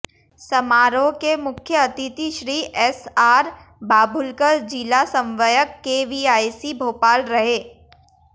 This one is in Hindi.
समारोह के मुख्य अतिथि श्री एसआर बाभुलकर जिला समन्वयक केवीआईसी भोपाल रहे